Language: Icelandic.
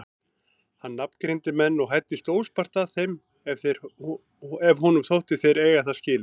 Hann nafngreindi menn og hæddist óspart að þeim ef honum þótti þeir eiga það skilið.